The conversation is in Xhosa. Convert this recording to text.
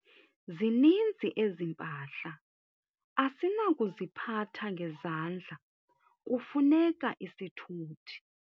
Zininzi ezi mpahla asinakuziphatha ngezandla kufuneka isithuthi.